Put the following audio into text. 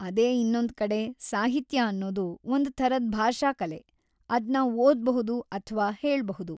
ಅದೇ ಇನ್ನೊಂದ್ಕಡೆ, ಸಾಹಿತ್ಯ ಅನ್ನೋದು ಒಂದ್‌ ಥರದ್ ಭಾಷಾ ಕಲೆ.. ಅದ್ನ ಓದ್ಬಹುದು ಅಥ್ವಾ ಹೇಳ್ಬಹುದು.